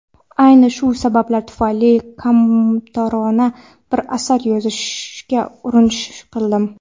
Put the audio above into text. Ayni shu sabablar tufayli kamtarona bir asar yozishga urinish qildim.